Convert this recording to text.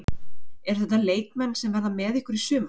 Eru þetta leikmenn sem verða með ykkur í sumar?